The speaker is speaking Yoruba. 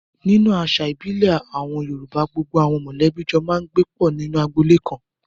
Nínú àṣà ìbílẹ̀ àwọn Yorùbá, gbogbo àwọn mọ̀lẹ́bí jọ máa ń gbé pọ̀ nínú agboolé kan.